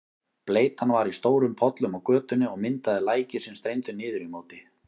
Bleytan var í stórum pollum á götunni og myndaði læki sem streymdu niður í móti.